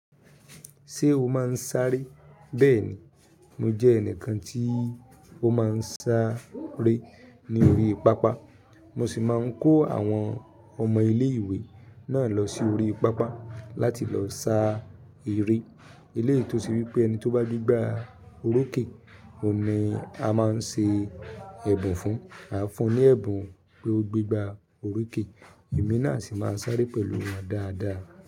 Ṣé o máa ń sáré? Bẹ́ẹ̀ni, mo jẹ́ ẹnìkan tí ó máa ń sáré ní orí pápá. Mo sì máa ń kó àwọn ọmọ ilé-ìwé náà lọ sí orí pápá láti lọ sá eré. Eléyìí tó ṣe wípé ẹni tó bá gbígba oróòkè, òun ni a máa ń ṣe ẹ̀bùn fún. A fún un ní ẹ̀bùn pé ó gbígba orí òkè. Ẹ̀mí náà sì máa sáré pẹ̀lú won dáadáa.